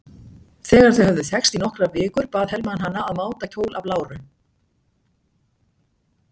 Þegar þau höfðu þekkst í nokkrar vikur bað Hermann hana að máta kjól af láru.